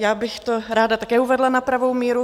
Já bych to ráda také uvedla na pravou míru.